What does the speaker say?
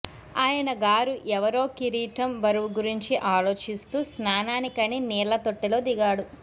ఆయన గారు ఎవరో కిరీటం బరువు గురించి ఆలోచిస్తూ స్నానానికని నీళ్ల తొట్టెలో దిగాడు